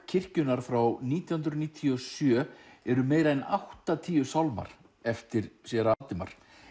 kirkjunnar frá nítján hundruð níutíu og sjö eru meira en áttatíu sálmar eftir séra Valdimar